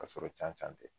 Ka sɔrɔ can can tɛ